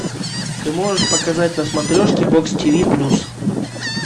ты можешь показать на смотрешке бокс тиви плюс